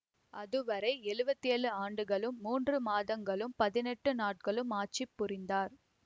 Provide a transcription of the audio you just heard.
அதுவரை எழுவத்தி ஏழு ஆண்டுகளும் மூன்று மாதங்களும் பதினெட்டு நாட்களும் ஆட்சி புரிந்தார்